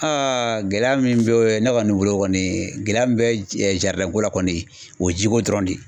Aa gɛlɛya min be o ye ne kɔni bolo kɔni gɛlɛya min bɛ jɛ jaridɛnko la kɔni o ye jiko dɔrɔn de ye